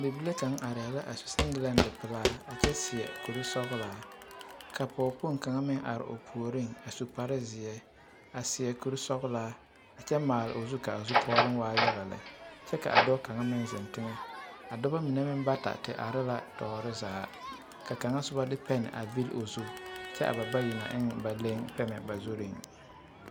Bibile kaŋa arɛɛ la a su seŋgelente pelaa a kyɛ seɛ kuri sɔgelaa ka pɔge kpoŋ kaŋ meŋ are o puoriŋ a su kpare zeɛ a seɛ kuri sɔgelaa kyɛ maale o zu k'a zukɔɔloŋ waa yaga lɛ kyɛ k'a dɔɔ kaŋa meŋ zeŋ teŋɛ, a dɔbɔ mine meŋ bata te are la tɔɔre zaa ka kaŋa soba a de pɛne a vili o zu kyɛ a ba bayi na eŋ ba leŋ pɛmɛ ba zuriŋ.